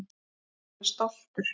Hann er stoltur.